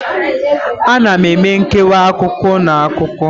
A na eme nkewa akụkụ na akụkụ.